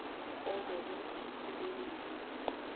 obekwe ngaphasi kwendima